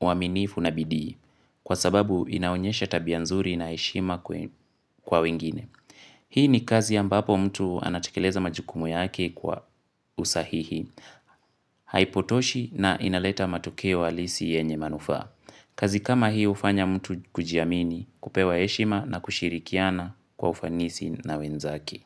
uwaminifu na bidii kwa sababu inaunyesha tabia nzuri na heshima kwa wengine. Hii ni kazi ambapo mtu anatekeleza majukumu ya aki kwa usahihi haipotoshi na inaleta matokeo alisi yenye manufaa. Kazi kama hii hufanya mtu kujiamini kupewa heshima na kushirikiana kwa ufanisi na wenzake.